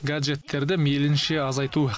гаджеттерді мейлінше азайту